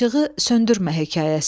İşığı söndürmə hekayəsi.